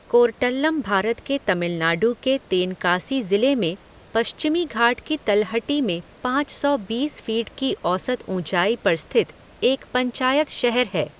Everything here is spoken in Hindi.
कोर्टल्लम भारत के तमिलनाडु के तेनकासी ज़िले में पश्चिमी घाट की तलहटी में पाँच सौ बीस फीट की औसत ऊँचाई पर स्थित एक पंचायत शहर है।